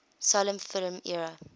silent film era